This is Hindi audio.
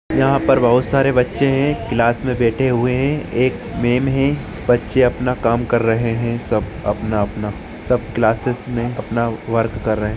यहाँ बहुत सारे बच्चे है क्लास मैं बैठे हुए है एक मेम है बच्चे अपना काम कर रहे है सब अपना अपना सब क्लासेस मे अपना वर्क कर रहे है।